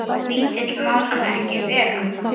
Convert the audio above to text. Lítill má hann ekki vera.